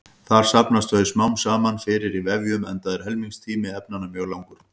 Þar safnast þau smám saman fyrir í vefjum enda er helmingunartími efnanna mjög langur.